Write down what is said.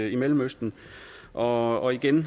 i mellemøsten og og igen